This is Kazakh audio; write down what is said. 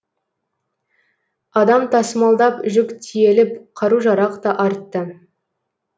адам тасымалдап жүк тиеліп қару жарақ та артты